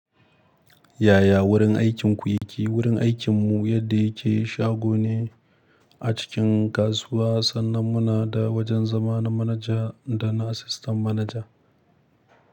Yaya wurin aikinku yake? Wurin aikinmu yadda yake shago ne a cikin kasuwa, sannan muna da wajen zama na manaja da na asistan manaja.